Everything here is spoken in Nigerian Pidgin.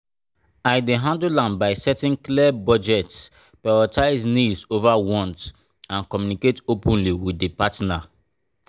i dey handle am by setting clear budget prioritize needs over wants and communicate openly with di partner.